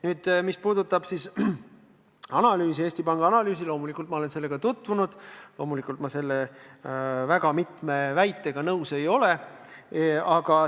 Nüüd, mis puudutab Eesti Panga analüüsi, siis loomulikult olen ma sellega tutvunud ja loomulikult ei ole ma väga mitme selles esitatud väitega nõus.